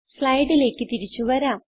സ്ലൈഡിലേക്ക് തിരിച്ചു വരാം